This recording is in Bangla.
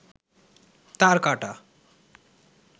তারকাঁটা